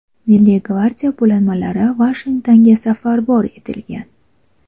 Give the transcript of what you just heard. Milliy gvardiya bo‘linmalari Vashingtonga safarbar etilgan.